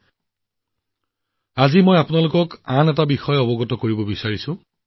বন্ধুসকল আজি মই আপোনালোকৰ ওচৰত আৰু এটা অনুৰোধ দোঁহাৰিব বিচাৰিছো